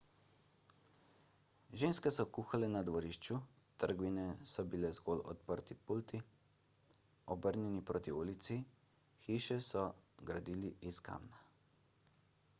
ženske so kuhale na dvorišču trgovine so bile zgolj odprti pulti obrnjeni proti ulici hiše so gradili iz kamna